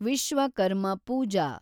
Vishwakarma Pooja